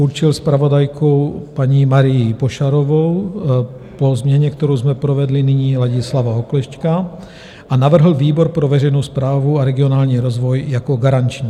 Určil zpravodajkou paní Marii Pošarovou, po změně, kterou jsme provedli nyní, Ladislava Oklešťka, a navrhl výbor pro veřejnou správu a regionální rozvoj jako garanční.